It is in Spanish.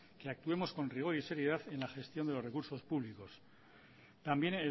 que actuemos con rigor y seriedad en la gestión de los recursos públicos también